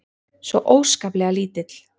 Svo óskaplega lítill.